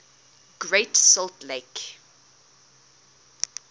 great salt lake